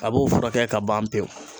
A b'o furakɛ ka ban pewu